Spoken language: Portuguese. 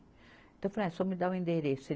Então eu falei, ah, só me dá o endereço.